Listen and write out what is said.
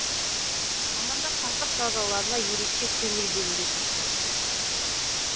мамандар сақтық шараларына ерекше көңіл бөлуге шақырады